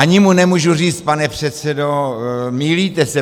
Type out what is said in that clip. Ani mu nemůžu říct: Pane předsedo, mýlíte se.